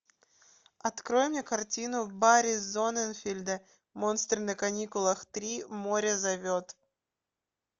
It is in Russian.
открой мне картину барри зонненфельда монстры на каникулах три море зовет